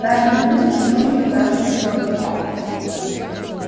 разные люди тянули её в разные стороны